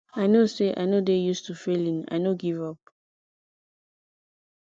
i no say i no dey use to failing i no give up